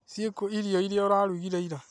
Ciikũirio iria ũrarugire ira?